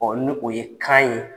ni o ye kan ye